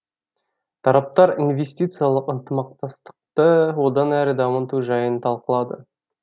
тараптар инвестициялық ынтымақтастықты одан әрі дамыту жайын талқылады